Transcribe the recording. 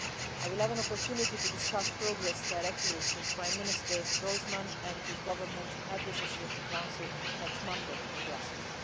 I will have an opportunity to discuss progress directly with Prime Minister Groysman and his Government at the Association Council next Monday in Brussels.